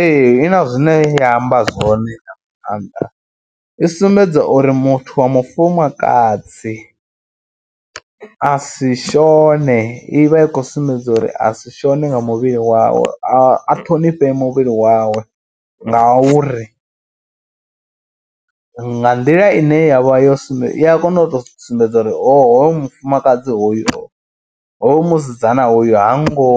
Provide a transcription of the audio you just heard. Ee i na zwine ya amba zwone nga maanḓa, i sumbedza uri muthu wa mufumakadzi a si shone, i vha i khou sumbedza uri a si shone nga muvhili wawe a ṱhonifhe muvhili wawe ngauri nga nḓila ine ya vha yo sumbe i ya kona u tou sumbedza uri hoyo mufumakadzi hoyu musidzana hoyu ha ngo,